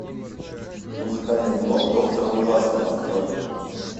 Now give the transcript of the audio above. музыкальный блог доктора ужасного открой